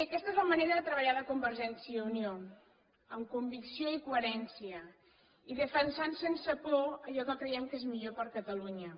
aquesta és la manera de treballar de convergència i unió amb convicció i coherència i defensant sense por allò que creiem que és millor per a catalunya